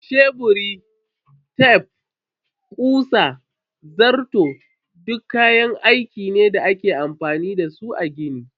Sheburi, tef, kutsa, zarto duk kayaki ne da ake amfani da su a gini.